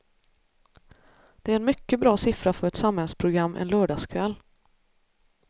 Det är en mycket bra siffra för ett samhällsprogram en lördagskväll.